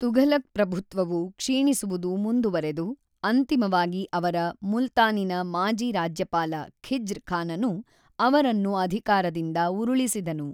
ತುಘಲಕ್‌ ಪ್ರಭುತ್ವವು ಕ್ಷೀಣಿಸುವುದು ಮುಂದುವರೆದು, ಅಂತಿಮವಾಗಿ ಅವರ ಮುಲ್ತಾನಿನ ಮಾಜಿ ರಾಜ್ಯಪಾಲ ಖಿಜ್ರ್‌ ಖಾನನು ಅವರನ್ನು ಅಧಿಕಾರದಿಂದ ಉರುಳಿಸಿದನು.